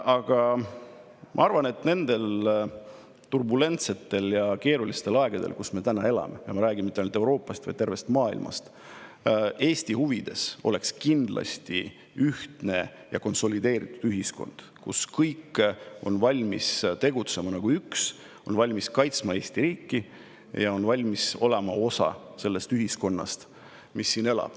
Aga ma arvan, et nendel turbulentsetel ja keerulistel aegadel, mil me elame – ja ma ei räägi ainult Euroopast, vaid tervest maailmast –, oleks Eesti huvides kindlasti ühtne ja konsolideeritud ühiskond, kus kõik on valmis tegutsema nagu üks, on valmis kaitsma Eesti riiki ja on valmis olema osa siinsest ühiskonnast.